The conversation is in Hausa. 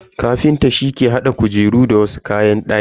Kafinta shi ke hada kujeru da wasu kayan daki.